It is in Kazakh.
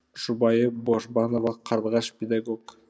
жұбайы божбанова қарлығаш педагог